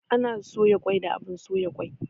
Ana soya kwai da abun soya kwai